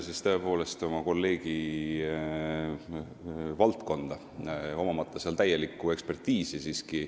Riskin tõepoolest oma kolleegi valdkonda tungimisega, omamata seal täielikku ekspertiisi.